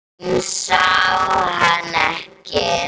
Hún sá hann ekki.